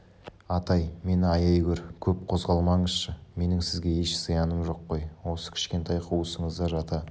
атай мені аяй гөр көп қозғалмаңызшы менің сізге еш зияным жоқ қой осы кішкентай қуысыңызда жата